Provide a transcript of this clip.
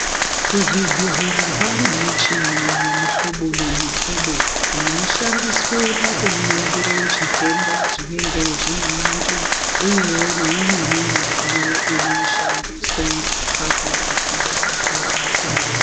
Kuzvibhedhlera kwava nemushini yemuhlobo nemuhlobo inoshanda pakuningira zvitenda zvinenge zvine vantu uye neimweni midziyo inoshandiswa pakurapiwa kwevantu.